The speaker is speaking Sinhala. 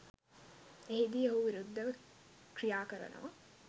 එහිදී ඔහු විරුද්ධව ක්‍රියා කරනවා